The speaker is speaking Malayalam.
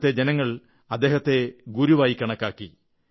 അവിടത്തെ ജനങ്ങൾ അദ്ദേഹത്തെ ഗുരുവായി കണക്കാക്കി